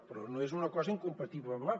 però no és una cosa incompatible amb l’altra